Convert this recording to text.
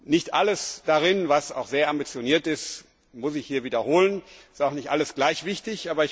Nicht alles darin, was auch sehr ambitioniert ist, muss ich hier wiederholen. Es ist auch nicht alles gleich wichtig.